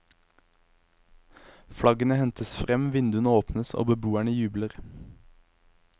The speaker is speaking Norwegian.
Flaggene hentes frem, vinduene åpnes og beboerne jubler.